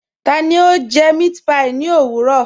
Tani o jẹ mẹ̀àtpí ní ọ̀wurọ̀?